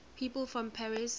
people from paris